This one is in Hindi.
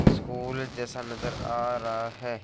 स्कूल जैसा नजर आ रहा है।